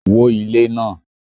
wó ilé náà!